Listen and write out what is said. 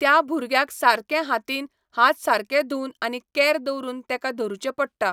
त्या भुरग्याक सारकें हातीन हात सारके धुवन आनी केअर दवरून तेका धरुचें पडटा